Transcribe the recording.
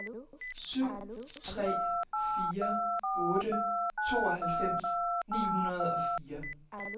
syv tre fire otte tooghalvfems ni hundrede og fire